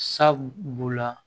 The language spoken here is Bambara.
Sabu b'o la